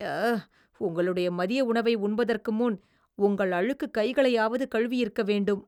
அ... உங்களுடைய மதிய உணவை உண்பதற்கு முன், உங்கள் அழுக்கு கைகளையாவது கழுவியிருக்க வேண்டும்.